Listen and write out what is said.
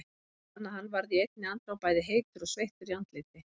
Hann fann að hann varð í einni andrá bæði heitur og sveittur í andliti.